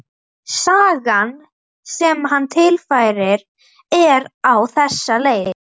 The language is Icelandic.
Sagan sem hann tilfærir er á þessa leið